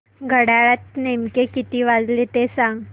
घड्याळात नेमके किती वाजले ते सांग